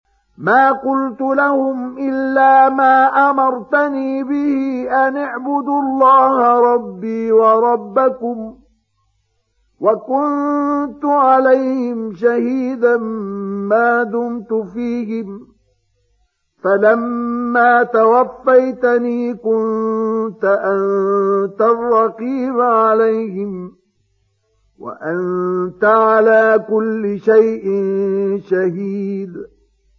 مَا قُلْتُ لَهُمْ إِلَّا مَا أَمَرْتَنِي بِهِ أَنِ اعْبُدُوا اللَّهَ رَبِّي وَرَبَّكُمْ ۚ وَكُنتُ عَلَيْهِمْ شَهِيدًا مَّا دُمْتُ فِيهِمْ ۖ فَلَمَّا تَوَفَّيْتَنِي كُنتَ أَنتَ الرَّقِيبَ عَلَيْهِمْ ۚ وَأَنتَ عَلَىٰ كُلِّ شَيْءٍ شَهِيدٌ